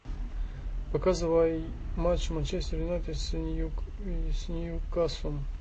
показывай матч манчестер юнайтед с ньюкаслом